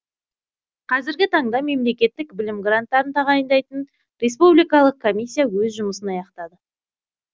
қазіргі таңда мемлекеттік білім гранттарын тағайындайтын республикалық комиссия өз жұмысын аяқтады